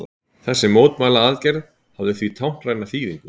Þessi mótmælaaðgerð hafði því táknræna þýðingu